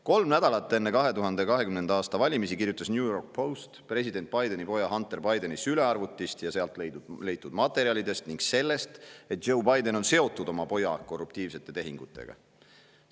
Kolm nädalat enne 2020. aasta valimisi kirjutas New York Post president Bideni poja Hunter Bideni sülearvutist ja sealt leitud materjalidest ning sellest, et Joe Biden on seotud oma poja korruptiivsete tehingutega.